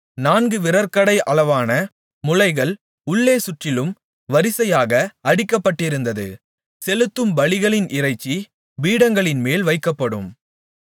நான்கு விரற்கடை அளவான முளைகள் உள்ளே சுற்றிலும் வரிசையாக அடிக்கப்பட்டிருந்தது செலுத்தும் பலிகளின் இறைச்சி பீடங்களின்மேல் வைக்கப்படும்